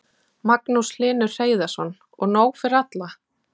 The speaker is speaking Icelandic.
Magnús Hlynur Hreiðarsson: Og nóg fyrir alla?